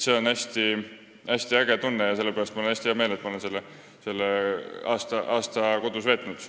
See on äge tunne ja sellepärast on mul hästi hea meel, et ma olen selle aasta kodus veetnud.